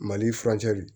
Mali furancɛ de